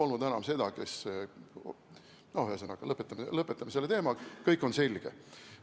Ühesõnaga, lõpetame selle teema, kõik on selge.